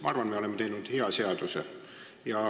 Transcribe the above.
Ma arvan, et me oleme teinud hea seaduse.